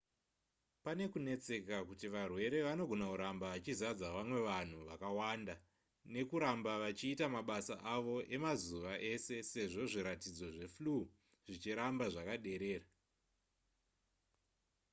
pane kunetseka kuti varwere vanogona kuramba vachizadza vamwe vanhu vakawanda nekuramba vachiita mabasa avo emazuva ese sezvo zviratidzo zveflu zvichiramba zvakaderera